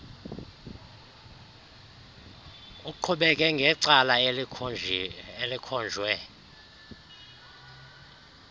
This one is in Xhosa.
uqhubeke ngecala elikhonjwe